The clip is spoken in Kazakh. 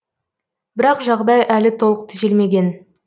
бірақ жағдай әлі толық түзелмеген